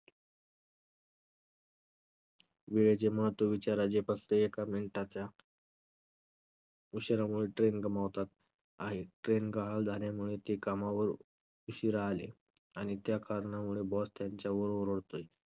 वेळेचे महत्त्व विचारा जे फक्त एका minute च्या उशीरामुळे train गमावतात आणि train झाल्यामुळे ते कामावर उशीरा आले. आणि त्या कारणामुळे boss त्यांच्यावर ओरडतोय,